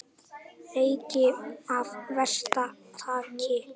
Leki af versta tagi